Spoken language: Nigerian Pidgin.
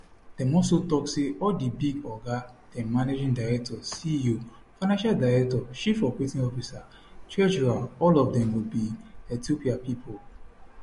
dem also tok say all di big oga dem managing director ceo financial director chief operating officer treasurer all of dem go be ethiopia pipo